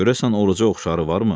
Görəsən Oruca oxşarı varmı?